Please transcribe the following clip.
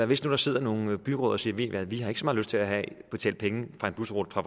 hvis der sidder nogle byråd og siger at de har ikke så meget lyst til at betale penge for en busrute fra